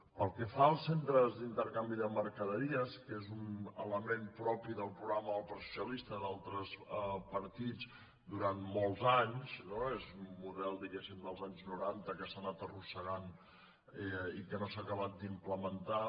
pel que fa als centres d’intercanvi de mercaderies que és un element propi del programa del partit socialista i d’altres partits durant molts anys no és un model diguéssim dels anys noranta que s’ha anat arrossegant i que no s’ha acabat d’implementar